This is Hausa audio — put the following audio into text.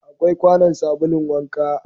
Akwai kwanon sabulun wanka